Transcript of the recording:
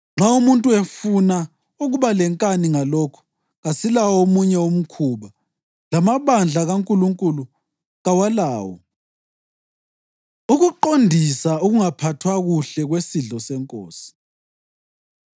Nxa umuntu efuna ukuba lenkani ngalokho, kasilawo omunye umkhuba, lamabandla kaNkulunkulu kawalawo. Ukuqondisa Ukungaphathwa Kuhle Kwesidlo SeNkosi